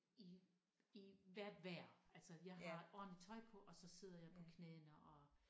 I i hvert vejr altså jeg har ordenligt tøj på og så sidder jeg på knæene og